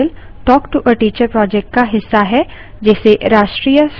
spoken tutorial talk to a teacher project का हिस्सा है